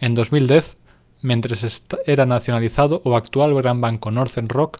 en 2010 mentres era nacionalizado o actual gran banco northern rock